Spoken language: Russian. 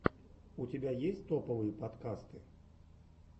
у тебя есть топовые подкасты